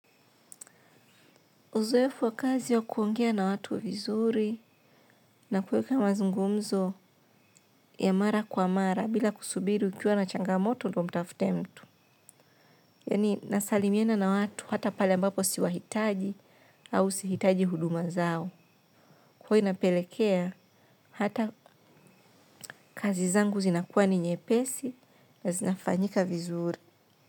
Uzoefu wa kazi ya kuongea na watu vizuri na kuweka mazungumzo ya mara kwa mara bila kusubiri ukiwa na changamoto ndio umtafute mtu. Yaani nasalimiana na watu hata pale ambapo siwahitaji au sihitaji huduma zao. Huwa inapelekea hata kazi zangu zinakuwa ni nyepesi na zinafanyika vizuri.